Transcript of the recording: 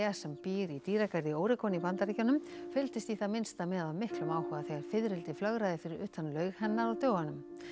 sem býr í dýragarði í í Bandaríkjunum fylgdist í það minnsta með af miklum áhuga þegar fiðrildi flögraði fyrir utan laug hennar á dögunum